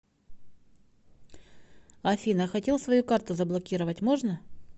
афина хотел свою карту заблокировать можно